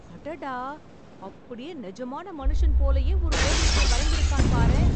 அடடா அப்படியே நிஜமான மனுஷன் போலயே ஒரு ஓவியத்தை வரைந்து இருக்கான் பாரேன்